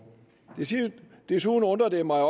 desuden undrer det mig